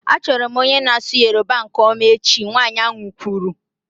Achọrọ m onye na-asụ Yoruba nke ọma echi, nwanyị ahụ kwuru